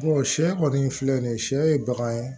sɛ kɔni filɛ nin ye sɛ ye bagan ye